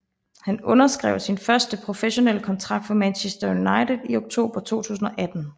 Han underskrev sin første professionelle kontrakt for Manchester United i oktober 2018